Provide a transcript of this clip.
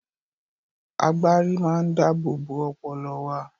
Agbárí máa ń dáábòbò ọpọlọ wa.